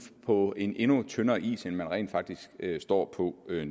på en endnu tyndere is end man rent faktisk står på nu jeg